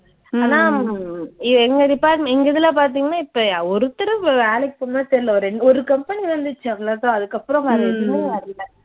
ஆனா உம் எ எங்க department எங்க இதுல பார்த்தீங்கன்னா இப்ப ஒருத்தரும் வ வேலைக்குப் போன மாதிரி தெரியல, ஒரு ரெண்டு ஒரு company வந்துச்சு அவ்ளோ தான் அதுக்கப்புறம் வேற எதுவுமே வரல.